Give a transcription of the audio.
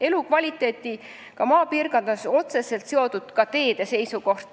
Elukvaliteediga maapiirkondades on otseselt seotud ka teede seisukord.